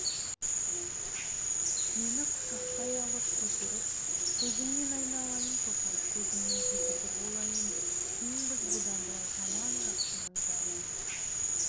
мені құшақтай алып көтеріп көзіңнен айналайын тоқан көзіңнің зекеті болайын теңбіз бұдан былай жаман-жақсының бәріне